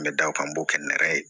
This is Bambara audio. N bɛ da o kan n b'o kɛ n yɛrɛ ye